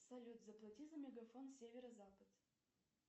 салют заплати за мегафон северозапад